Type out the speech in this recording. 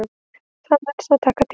Það mun þó taka tíma